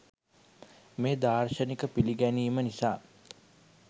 මේ දාර්ශනික පිළිගැනීම නිසා